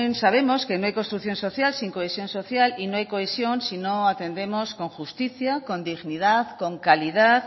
sabemos que no hay construcción social sin cohesión social y no hay cohesión sino atendemos con justicia con dignidad con calidad